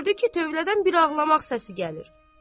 Gördü ki, tövlədən bir ağlamaq səsi gəlir.